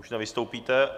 Už nevystoupíte.